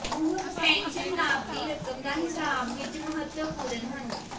ਉਹ ਪੈਨਸ਼ਨ ਲਾਭ ਦੀ ਰਕਮ ਦਾ ਹਿਸਾਬ ਵਿੱਚ ਮਹੱਤਵਪੂਰਨ ਹਨ